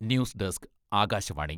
news desk, Akashvani..........